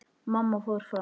Mamma fór fram.